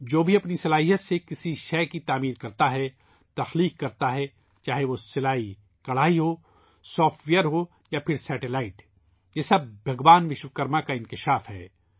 جو بھی تخلیق کرتا ہے ، اپنی مہارت سے کوئی چیز تخلیق کرتا ہے ، چاہے وہ سلائی کڑھائی ہو ، سافٹ وئیر ہو یا سیٹلائٹ ، یہ سب بھگوان وشوکرما کا مظہر ہے